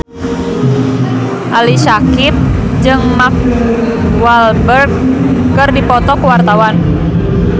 Ali Syakieb jeung Mark Walberg keur dipoto ku wartawan